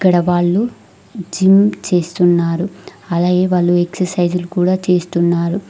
ఈడ వాళ్లు జిమ్ చేస్తున్నారు అలాగే వాళ్ళు ఎక్సర్సైజ్ లు కూడా చేస్తున్నారు.